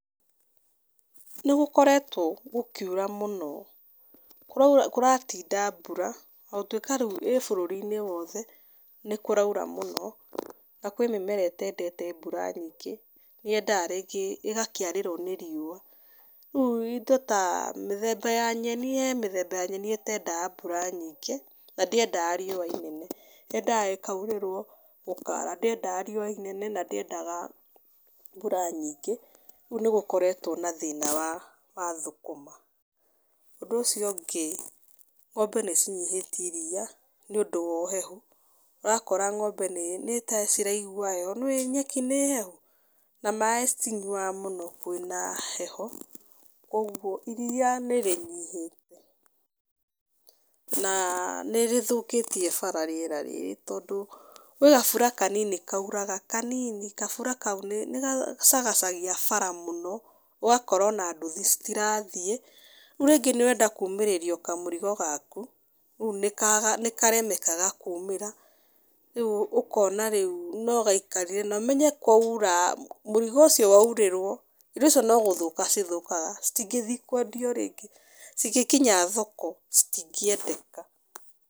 Nĩ gũkoretwo gũkiura mũno. Kũraura kũratinda mbura, ona gũtuĩka rĩu ĩĩ bũrũri-inĩ wothe, nĩ kũraura mũno, na kwĩ mĩmera ĩtendete mbura nyingĩ, yendaga rĩngĩ ĩgakĩarĩrwo nĩ riũa. Rĩu indo ta mĩthemba ya nyeni he mĩthemba ya nyeni ĩtendaga mbura nyingĩ, na ndĩendaga riũa inene. Yendaga ĩkaurĩrwo gũkara. Ndĩendaga riũa inene, na ndĩendaga mbura nyingĩ. Rĩu nĩ gũkoretwo na thĩna wa wa thũkũma. Ũndũ ũcio ũngĩ, ng'ombe nĩ cinyihĩtie iriia, nĩ ũndũ wa ũhehu. Ũrakora ng'ombe nĩ nĩ ta ciraigua heho. Nĩ ũĩ nyeki hehu, na maĩ citinyuaga mũno kwĩna heho. Kũguo iriia nĩ rĩnyihĩte. Na nĩ rĩthũkĩtie bara rĩera rĩrĩ. Tondũ kwĩ gabura kanini kauraga, kanini kabura kau nĩ nĩ gacagacagia bara mũno, ũgakora ona nduthi citirathiĩ. Rĩu rĩngĩ nĩ ũrenda kuumĩrĩrio kamũrigo gaku, rĩu nĩ karemekaga kuumĩra. Rĩu ũkona rĩu no gaikarire na ũmenye kwaura, mũrigo ũcio waurĩrwo, indo icio no gũthũka cithũkaga. Citingĩthi kwendio rĩngĩ. Cigĩkinya thoko, citingĩendeka.